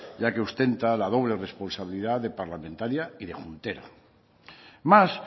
ya que ostenta la doble responsabilidad de parlamentaria y de juntera más